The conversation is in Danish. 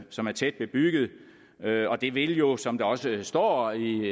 som er tæt bebygget og det vil jo som der også står i